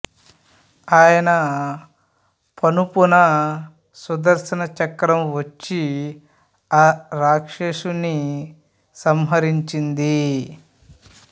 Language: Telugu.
ఆయన పనుపున సుదర్శన చక్రం వచ్చి ఆ రాక్షసుని సంహరించింది